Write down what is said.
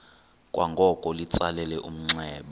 kwangoko litsalele umnxeba